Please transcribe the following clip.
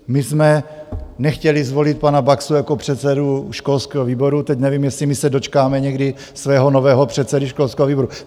My jsme nechtěli zvolit pana Baxu jako předsedu školského výboru, teď nevím, jestli my se dočkáme někdy svého nového předsedy školského výboru.